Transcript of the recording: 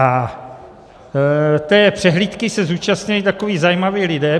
A té přehlídky se zúčastnili takoví zajímaví lidé.